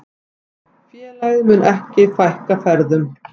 Félagið muni ekki fækka ferðum.